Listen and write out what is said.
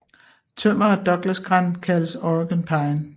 Tømmer af Douglasgran kaldes Oregon pine